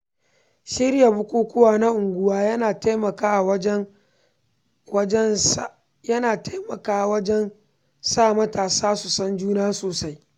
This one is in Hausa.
Shirya bukukuwa na unguwa yana taimakawa wajen sa matasa su san juna sosai.